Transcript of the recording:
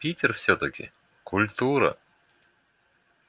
питер всё-таки культура